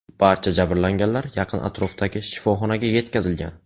Barcha jabrlanganlar yaqin atrofdagi shifoxonaga yetkazilgan.